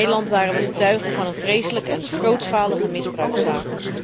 In Nederland waren we getuige van een vreselijke en grootschalige misbruikzaak.